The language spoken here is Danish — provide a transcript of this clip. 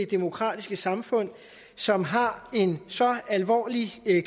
demokratiske samfund som har en så alvorlig